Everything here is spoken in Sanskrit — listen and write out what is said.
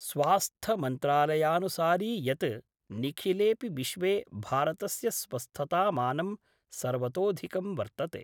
स्वास्थमन्त्रालयानुसारि यत् निखिलेपि विश्वे भारतस्य स्वस्थतामानं सर्वतोऽधिकं वर्तते।